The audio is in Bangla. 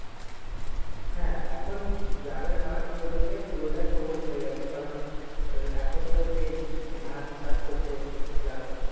হ্যাঁ এখন গ্রামের মাঠ বলতে গেলে পুরোটা সবুজ হয়ে গেছে কারণ আহ এখন তো সেই ধান চাষ করছে জানো ।